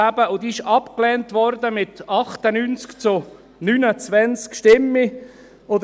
Diese wurde mit 98 zu 29 Stimmen abgelehnt.